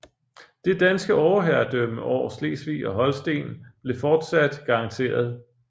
Det danske overherredømme over Slesvig og Holsten blev fortsat garanteret